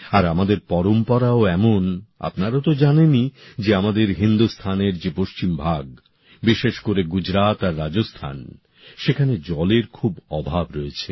আর আমাদের পরম্পরাও এমন আপনারা তো জানেনই যে আমাদের হিন্দুস্থানের যে পশ্চিম ভাগ বিশেষ করে গুজরাত আর রাজস্থান সেখানে জলের খুব অভাব রয়েছে